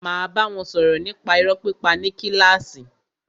Máa bá wọn sọ̀rọ̀ nípa irọ́ pípa ní kílàsì.